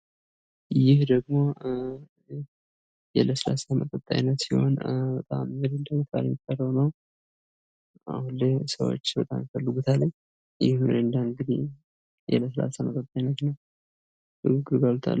ይህ ደግሞ የለስላሳ መጠጥ አይነት ሲሆን ሚሪንዳ በመባል ሚጠራው ነው። አሁን ላይ ብዙዎች ይፈልጉታል ይሄ ሚሪንዳ የለስላሳ መጠጥ አይነት ነው።